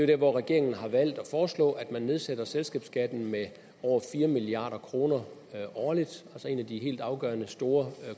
der hvor regeringen har valgt at foreslå at man nedsætter selskabsskatten med over fire milliard kroner årligt altså en af de helt afgørende store